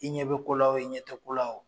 I ɲɛ bɛ ko la o i ɲɛ tɛ ko la o